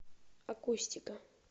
акустика